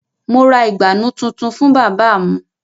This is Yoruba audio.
Mo ra ìgbànú tuntun fún bábà mu